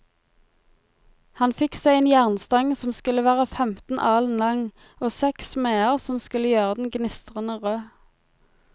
Han fikk seg en jernstang som skulle være femten alen lang, og seks smeder som skulle gjøre den gnistrende rød.